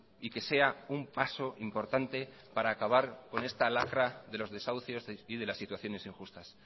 y que sea un paso importante para acabar con esta lacra de los desahucios y de las situaciones injustas